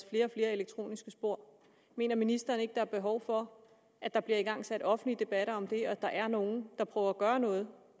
flere elektroniske spor mener ministeren ikke der er behov for at der bliver igangsat offentlige debatter om det og at der er nogle der prøver at gøre noget